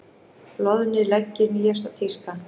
Loðnir leggir nýjasta tíska